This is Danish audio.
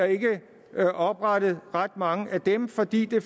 oprettet ret mange af dem fordi det